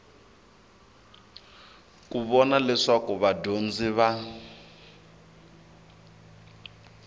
ku vona leswaku vadyondzi va